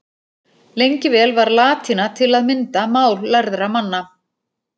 Lengi vel var latína til að mynda mál lærðra manna.